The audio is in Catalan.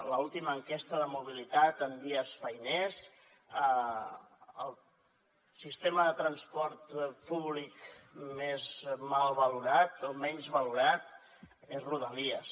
l’última enquesta de mobilitat en dies feiners el sistema de transport públic més mal valorat o menys valorat és rodalies